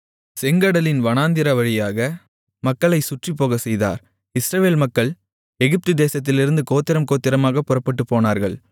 செங்கடலின் வனாந்திர வழியாக மக்களைச் சுற்றிப் போகச்செய்தார் இஸ்ரவேல் மக்கள் எகிப்து தேசத்திலிருந்து கோத்திரம் கோத்திரமாக புறப்பட்டுப்போனார்கள்